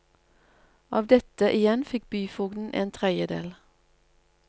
Av dette igjen fikk byfogden en tredjedel.